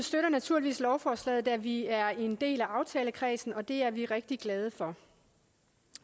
støtter naturligvis lovforslaget da vi er en del af aftalekredsen og det er vi rigtig glade for